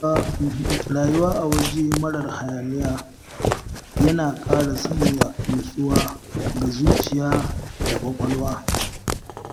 Rayuwa a waje marar hayaniya yana ƙara sanya nutsuwa ga zuciya da ƙwaƙwalwa